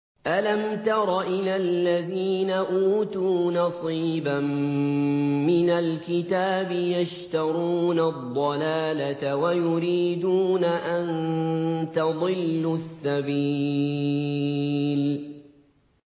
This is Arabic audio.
أَلَمْ تَرَ إِلَى الَّذِينَ أُوتُوا نَصِيبًا مِّنَ الْكِتَابِ يَشْتَرُونَ الضَّلَالَةَ وَيُرِيدُونَ أَن تَضِلُّوا السَّبِيلَ